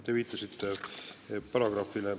Te viitasite eelnõu paragrahvile.